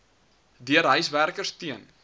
deur huiswerkers teen